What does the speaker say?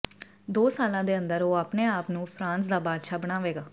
ਦੋ ਸਾਲਾਂ ਦੇ ਅੰਦਰ ਉਹ ਆਪਣੇ ਆਪ ਨੂੰ ਫਰਾਂਸ ਦਾ ਬਾਦਸ਼ਾਹ ਬਣਾਵੇਗਾ